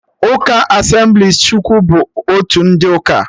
Ụka Asemblịes Chukwu bụ otu ụdị uka